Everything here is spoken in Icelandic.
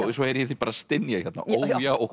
svo heyri ég þig bara stynja ó já